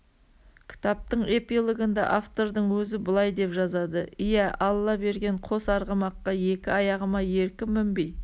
кітаптың эпилогында автордың өзі былай деп жазады иә алла берген қос арғымаққа екі аяғыма еркін мінбей